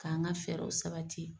K'an ka fɛɛrɛw sabati.